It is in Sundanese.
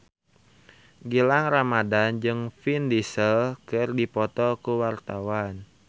Gilang Ramadan jeung Vin Diesel keur dipoto ku wartawan